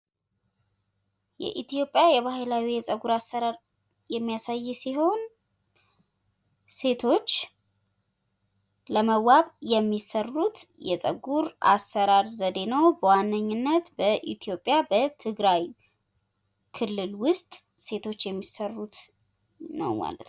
የኢትዮጵያ ባህላዊ ጸጉር አሰራር የሚያሳይ ሲሆን ሴቶች ለመዋብ የሚሰሩት የጸጉር አሰራር ዘዴ ነው። በዋነኝነት በኢትዮጵያ በትግራይ ክልል ውስጥ ሴቶች የሚሰሩት ነው ማለት ነው።